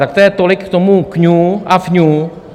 Tak to je tolik k tomu kňu a fňu.